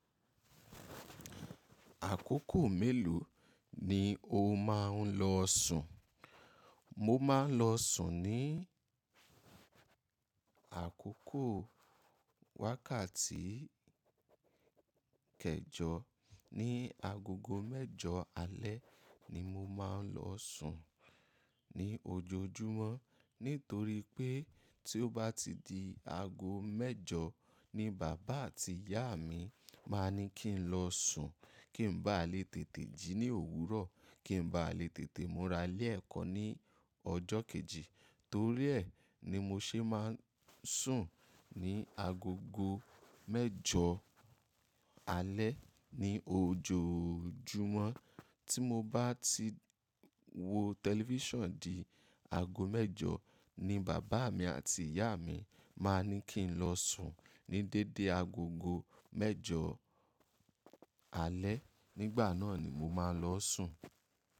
Àkókò mélòó ni o máa ń lọ sùn? Mo máa ń lọ sùn ní àkókò wákàtí kẹjọ, ní agogo mẹ́jọ alẹ́ ni mo máa ń lọ sùn ní ojoojúmọ́ nítorí pé tí ó bá ti di ago mẹ́jọ ni bàbá àti ìyá mi máa ní kí n lọ sùn kí n ba lè tètè jí ní òwúrọ̀, kí n ba lè tètè múra lé ẹ̀kọ́ ní ọjọ́ kejì. Torí ẹ̀ ni mo ṣe máa ń sùn ní agogo mẹ́jọ alẹ́ ní ojoojúmọ́. Tí mo bá ti wo tẹlifíṣàn di ago mẹ́jọ ni bàbá mi àti ìyá mi máa ní kí n lọ sùn ní dédé agogo mẹ́jọ alẹ́, nígbà náà ni mo máa lọ sùn.